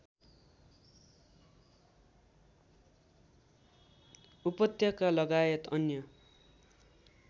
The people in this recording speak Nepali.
उपत्यकालगायत अन्य